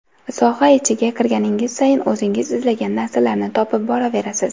Soha ichiga kirganingiz sayin o‘zingiz izlagan narsalarni topib boraverasiz.